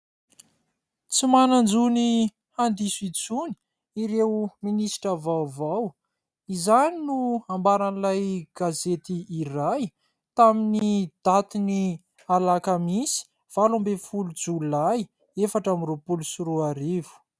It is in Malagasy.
"Tsy manan-jo ny handiso intsony ireo ministra vaovao" izany no ambaran'ilay gazety iray, tamin'ny daty ny alakamisy valo ambin'ny folo jolay efatra amby roapolo sy roa arivo.